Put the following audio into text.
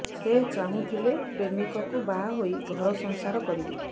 ସେ ଚାହୁଁଥିଲେ ପ୍ରେମିକଙ୍କୁ ବାହା ହୋଇ ଘର ସଂସାର କରିବେ